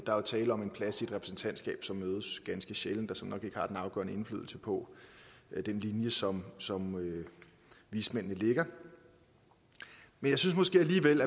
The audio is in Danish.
der er tale om en plads i et repræsentantskab som mødes ganske sjældent og som nok ikke har den afgørende indflydelse på den linje som som vismændene lægger men jeg synes måske alligevel